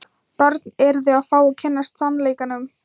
Börn yrðu að fá að kynnast sannleikanum.